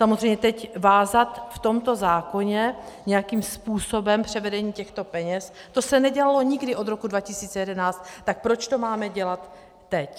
Samozřejmě teď vázat v tomto zákoně nějakým způsobem převedení těchto peněz, to se nedělalo nikdy od roku 2011, tak proč to máme dělat teď.